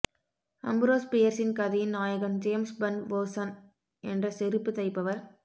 அம்புரோஸ் பியர்ஸின் கதையின் நாயகன் ஜேம்ஸ் பெர்ன் வொர்சன் என்ற செருப்புத் தைப்பவர்